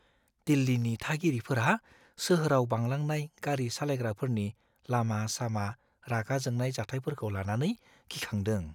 दिल्लीनि थागिरिफोरा सोहोराव बांलांनाय गारि सालायग्राफोरनि लामा-सामा रागा जोंनाय जाथायफोरखौ लानानै गिखांदों।